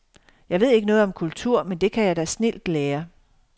Jeg ved ikke noget om kultur, men det kan jeg da snildt lære.